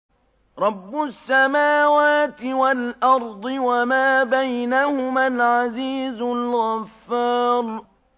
رَبُّ السَّمَاوَاتِ وَالْأَرْضِ وَمَا بَيْنَهُمَا الْعَزِيزُ الْغَفَّارُ